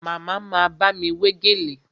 Màmá ma bámi wé gèlè